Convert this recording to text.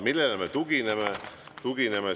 Millele me tugineme?